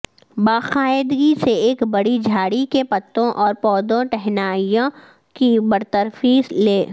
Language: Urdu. باقاعدگی سے ایک بڑی جھاڑی کے پتوں اور پودوں ٹہنیاں کی برطرفی لے